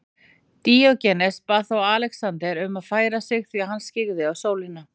Díógenes bað þá Alexander um að færa sig því hann skyggði á sólina.